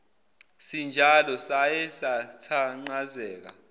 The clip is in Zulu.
sinjalo saye sathanqazeka